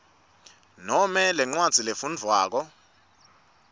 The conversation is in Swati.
noma lencwadzi lefundvwako